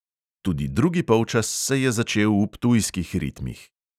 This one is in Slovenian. Tudi drugi polčas se je začel v ptujskih ritmih.